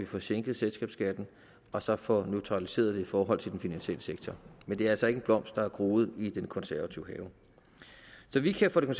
får sænket selskabsskatten og så får neutraliseret den i forhold til den finansielle sektor men det er altså ikke en blomst der er groet i den konservative have så vi kan fra det